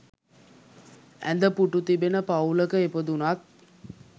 ඇඳ, පුටු තිබෙන පවුලක ඉපදුනත්